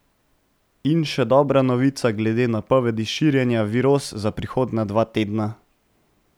In še dobra novica glede napovedi širjenja viroz za prihodnja dva tedna.